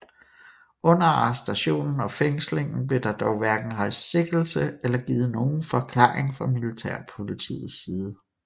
Under arrestationen og fængslingen blev der dog hverken rejst sigtelse eller givet nogen forklaring fra militærpolitiets side